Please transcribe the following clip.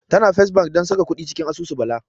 Tana First Bank don saka kuɗi cikin asusu Bala.